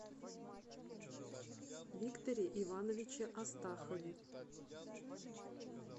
викторе ивановиче астахове